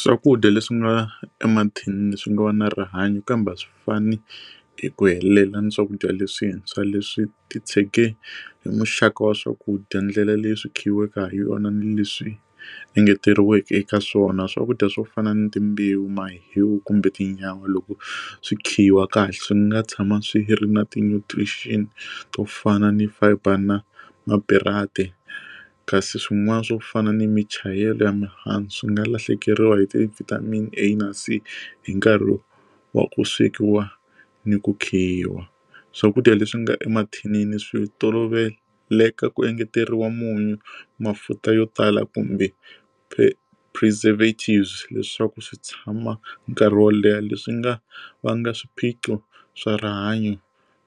Swakudya leswi nga emathinini swi nga va na rihanyo kambe a swi fani hi ku helela na swakudya leswintshwa leswi titshege hi muxaka wa swakudya ndlela leyi swi khiweke ha yona ni leswi engeteriweke eka swona swakudya swo fana ni timbewu ma hiwu kumbe tinyawa loko swi khiwa kahle swi nga tshama swi ri na ti nutrients to fana ni fiber na ma kasi swin'wana swo fana ni mi chayela ya mihandzu swi nga lahlekeriwa hi ti vitamin a na c hi nkarhi wa ku swekiwa ni ku khiwa swakudya leswi nga emathinini swi tolovelekeke ku engeteriwa munyu mafutha yo tala kumbe preservatives leswaku swi tshama nkarhi wo leha leswi nga vanga swiphiqo swa rihanyo